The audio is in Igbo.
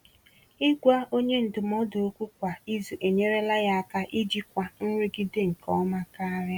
Ịgwa onye ndụmọdụ okwu kwa izu enyerela ya aka ijikwa nrụgide nke ọma karịa.